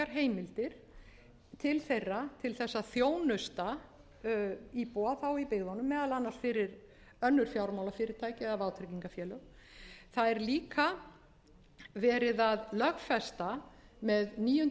heimildir til þeirra til þess að þjónusta íbúa þá í byggðunum meðal annars fyrir önnur fjármálafyrirtæki eða vátryggingafélög það er líka verið að lögfesta með níundu